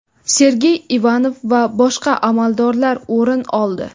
Sergey Ivanov va boshqa amaldorlar o‘rin oldi.